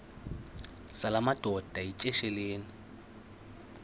zala madoda yityesheleni